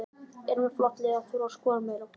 Eru með flott lið en þurfa að skora meira.